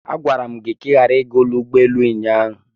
Agwara m gị ka ị ghara ịga n'ụlọ ụgbọelu ụnyaahụ!